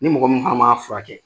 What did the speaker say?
Ni mɔgɔ min fana ma furakɛ